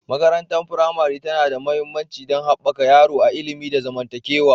Makarantar firamare tana da mahimmanci don haɓaka yaro a ilimi da zamantakewa.